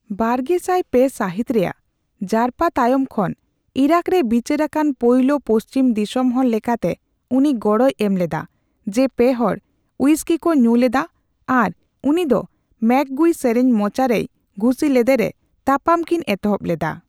ᱵᱟᱨᱜᱮᱟᱭ ᱯᱮ ᱥᱟᱹᱦᱤᱛ ᱨᱮᱭᱟᱜ ᱡᱟᱨᱯᱟ ᱛᱟᱭᱚᱢ ᱠᱷᱚᱱ ᱤᱨᱟᱠᱨᱮ ᱵᱤᱪᱟᱹᱨ ᱟᱠᱟᱱ ᱯᱳᱭᱞᱳ ᱯᱚᱥᱪᱤᱢ ᱫᱤᱥᱚᱢ ᱦᱚᱲ ᱞᱮᱠᱟᱛᱮ ᱩᱱᱤ ᱜᱚᱲᱚᱭ ᱮᱢᱞᱮᱫᱟ ᱡᱮ ᱯᱮᱦᱚᱲ ᱦᱩᱭᱤᱥᱠᱤᱠᱚ ᱧᱩ ᱞᱮᱫᱟ ᱟᱨ ᱩᱱᱤᱫᱚ ᱢᱮᱹᱠᱜᱩᱭ ᱥᱮᱨᱮᱧ ᱢᱚᱪᱟᱨᱮᱭ ᱜᱷᱩᱥᱤ ᱞᱮᱫᱮᱨᱮ, ᱛᱟᱯᱟᱢ ᱠᱤᱱ ᱮᱛᱚᱦᱚᱵᱽ ᱞᱮᱫᱟ ᱾